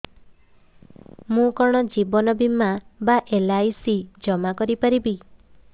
ମୁ କଣ ଜୀବନ ବୀମା ବା ଏଲ୍.ଆଇ.ସି ଜମା କରି ପାରିବି